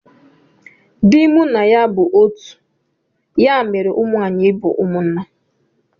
Dị mụ na ya bụ otu ya mere ụmụ anyị bu umunna